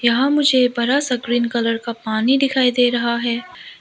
यहां मुझे बड़ा सा ग्रीन कलर का पानी दिखाई दे रहा है।